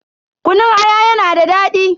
Kunun aya yana da daɗi.